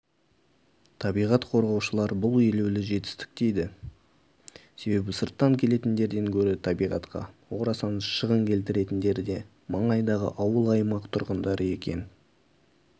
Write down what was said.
табиғат қорғаушылар бұл елеулі жетістік дейді себебі сырттан келетіндерден гөрі табиғатқа орасан шығын келтіретіндер де маңайдағы ауыл-аймақ тұрғындары екен